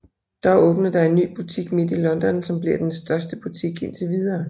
Dog åbner der en ny butik midt i London som bliver den største butik indtil videre